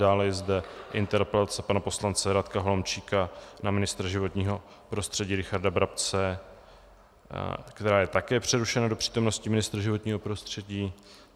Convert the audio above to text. Dále je zde interpelace pana poslance Radka Holomčíka na ministra životního prostředí Richarda Brabce, která je také přerušena do přítomnosti ministra životního prostředí.